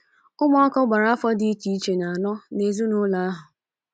Ụmụaka gbara afọ dị iche iche na - anọ “ n’ezinụlọ ” ahụ.